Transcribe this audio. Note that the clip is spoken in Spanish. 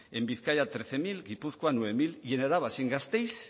en bizkaia trece mil en gipuzkoa nueve mil y en araba sin gasteiz